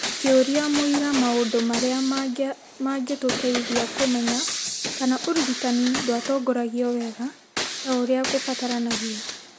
Akĩũria mũira Maũndũ marĩa mangĩtũteithia kũmenya kana ũrigitani ndwatongoragio wega ta ũrĩa kũbataranagia ,